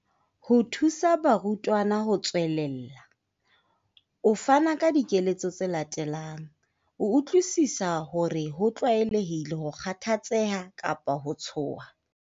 Ho thusa barutwana ho tswelella, o fana ka dikeletso tse latelang. O utlwisisa hore ho tlwaelehile ho kgathatseha kapa ho tshoha.